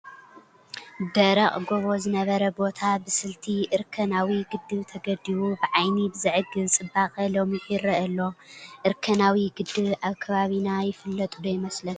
ደረቕ ጐቦ ዝነበረ ቦታ ብስልቲ እርከናዊ ግድብ ተገዲቡ ብዓይኒ ብዘዕግብ ፅባቐ ለሚዑ ይርአ ኣሎ፡፡ እርከናዊ ግድብ ኣብ ከባቢና ይፍለጥ ዶ ይመስለኩም?